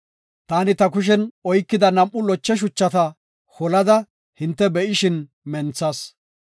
Taani ta kushen oykida nam7u loche shuchata holada hinte be7ishin menthas.